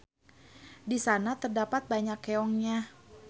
Di sana terdapat banyak keongnya.